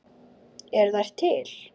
Eru þær til?